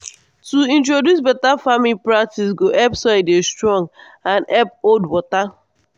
to introduce better farming practice go help soil dey strong and help hold water.